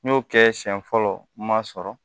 N y'o kɛ siɲɛ fɔlɔ n ma sɔrɔ